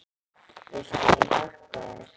Viltu að ég hjálpi þér?